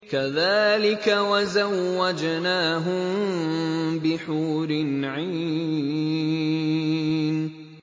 كَذَٰلِكَ وَزَوَّجْنَاهُم بِحُورٍ عِينٍ